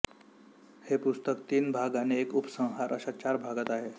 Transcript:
हे पुस्तक तीन भाग आणि एक उपसंहार अशा चार भागात आहे